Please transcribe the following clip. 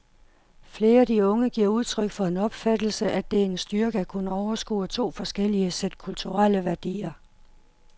Flere af de unge giver udtryk for den opfattelse, at det er en styrke at kunne overskue to forskellige sæt kulturelle værdier.